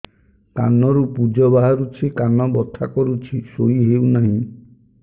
କାନ ରୁ ପୂଜ ବାହାରୁଛି କାନ ବଥା କରୁଛି ଶୋଇ ହେଉନାହିଁ